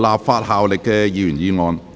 無立法效力的議員議案。